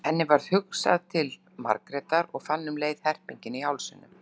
Henni varð hugsað til Margrétar og fann um leið herpinginn í hálsinum.